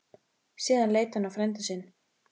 Síðan leit hann á frænda sinn.